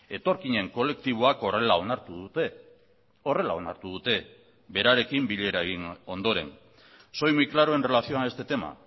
etorkinen kolektiboak horrela onartu dute horrela onartu dute berarekin bilera egin ondoren soy muy claro en relación a este tema